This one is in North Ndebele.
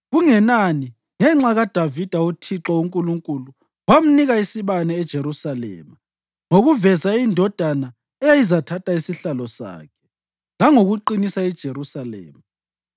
Kungenani, ngenxa kaDavida uThixo uNkulunkulu wamnika isibane eJerusalema ngokuveza indodana eyayizathatha isihlalo sakhe langokuqinisa iJerusalema.